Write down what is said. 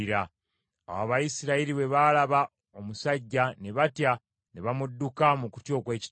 Awo Abayisirayiri bwe baalaba omusajja ne batya ne bamudduka mu kutya okw’ekitalo.